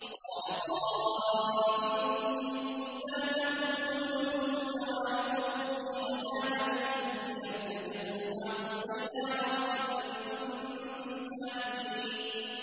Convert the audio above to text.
قَالَ قَائِلٌ مِّنْهُمْ لَا تَقْتُلُوا يُوسُفَ وَأَلْقُوهُ فِي غَيَابَتِ الْجُبِّ يَلْتَقِطْهُ بَعْضُ السَّيَّارَةِ إِن كُنتُمْ فَاعِلِينَ